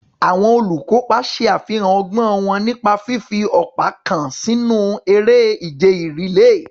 Àwọn olùkópa ṣe àfihàn ọgbọ́n wọn nípa fífi ọ̀pá kan sínú eré ìje rìléè.